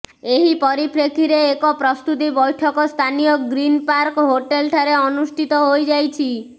ଏହି ପରିପ୍ରେକ୍ଷୀରେ ଏକ ପ୍ରସ୍ତୁତି ବୈଠକ ସ୍ଥାନୀୟ ଗ୍ରୀନ ପାର୍କ ହୋଟେଲଠାରେ ଅନୁଷ୍ଠିତ ହୋଇଯାଇଛି